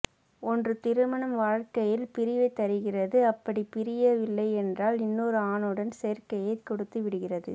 ஒன்று திருமண வாழ்க்கையில் பிரிவைத் தருகிறது அப்படிப் பிரிய வில்லை என்றால் இன்னொரு ஆணுடன் சோ்க்கையை கொடுத்து விடுகிறது